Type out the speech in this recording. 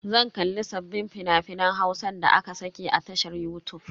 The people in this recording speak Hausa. Zan kalli sabbin fina-finan Hausan da aka saki a tashar yutub.